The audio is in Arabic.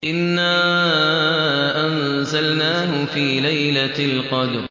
إِنَّا أَنزَلْنَاهُ فِي لَيْلَةِ الْقَدْرِ